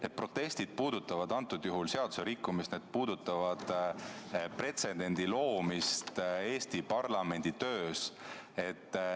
Need protestid puudutavad seaduserikkumist, need puudutavad pretsedendi loomist Eesti parlamendi töös.